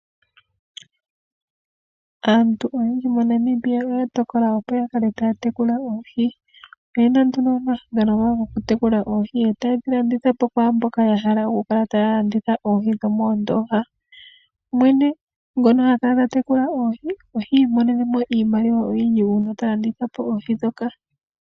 Aantu oyendji moNamibia oya tokola opo ya kale taya tekula oohi. Oyena nduno omahangano gawo gokutekula oohi, yo taye dhi landithapo kwaamboka ya hala okukala taya landitha oohi dho moondoha. Mwene ngono ha kala ta tekula oohi, oha imonene mo iimaliwa oyindji uuna ta landitha po oohi dhoka.